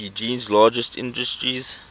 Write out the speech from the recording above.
eugene's largest industries